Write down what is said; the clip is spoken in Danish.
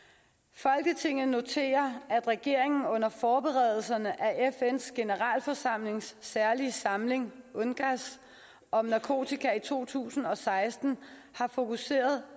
folketinget noterer at regeringen under forberedelserne af fns generalforsamlings særlige samling om narkotika i to tusind og seksten har fokuseret